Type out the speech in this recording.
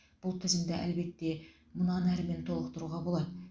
бұл тізімді әлбетте мұнан әрмен толықтыруға болады